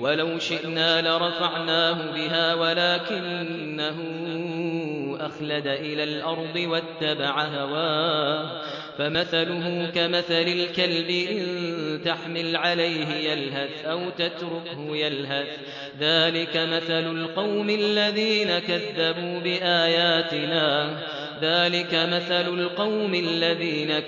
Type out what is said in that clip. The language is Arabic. وَلَوْ شِئْنَا لَرَفَعْنَاهُ بِهَا وَلَٰكِنَّهُ أَخْلَدَ إِلَى الْأَرْضِ وَاتَّبَعَ هَوَاهُ ۚ فَمَثَلُهُ كَمَثَلِ الْكَلْبِ إِن تَحْمِلْ عَلَيْهِ يَلْهَثْ أَوْ تَتْرُكْهُ يَلْهَث ۚ ذَّٰلِكَ مَثَلُ الْقَوْمِ الَّذِينَ